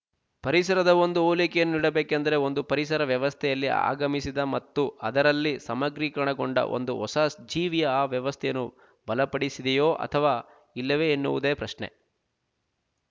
ಪರಿಸರದ ಒಂದು ಹೋಲಿಕೆಯನ್ನು ನೀಡಬೇಕೆಂದರೆ ಒಂದು ಪರಿಸರ ವ್ಯವಸ್ಥೆಯಲ್ಲಿ ಆಗಮಿಸಿದ ಮತ್ತು ಅದರಲ್ಲಿ ಸಮಗ್ರೀಕರಣಗೊಂಡ ಒಂದು ಹೊಸ ಜೀವಿಯ ಆ ವ್ಯವಸ್ಥೆಯನ್ನು ಬಲಪಡಿಸಿದೆಯೋ ಅಥವಾ ಇಲ್ಲವೇ ಎನ್ನುವುದೇ ಪ್ರಶ್ನೆ